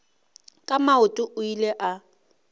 ka maoto o ile a